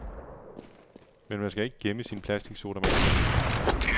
Men man skal ikke gemme sin plasticsodavand for længe.